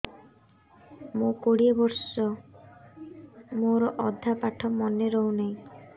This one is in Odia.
ମୋ କୋଡ଼ିଏ ବର୍ଷ ମୋର ଅଧା ପାଠ ମନେ ରହୁନାହିଁ